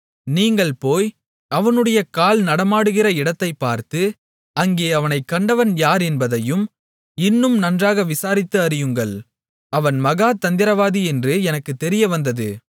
நீங்கள் போய் அவனுடைய கால் நடமாடுகிற இடத்தைப் பார்த்து அங்கே அவனைக் கண்டவன் யார் என்பதையும் இன்னும் நன்றாக விசாரித்து அறியுங்கள் அவன் மகா தந்திரவாதி என்று எனக்குத் தெரிய வந்தது